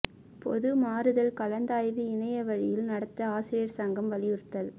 பொது மாறுதல் கலந்தாய்வை இணைய வழியில் நடத்த ஆசிரியா் சங்கம் வலியுறுத்தல்